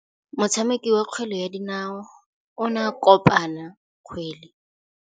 Motshameki wa kgwele ya dinaô o ne a konopa kgwele.